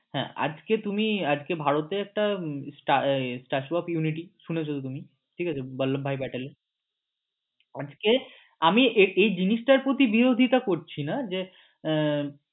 হ্যাঁ আজকে তুমি আজকে ভারতে একটা statue of unity শুনেছ তো তুমি ঠিক আছে বল্লব ভাই ব্যাটল এর আজকে আমি এই জিনিসটার প্রতি বিরোধিতা করছি না যে আহ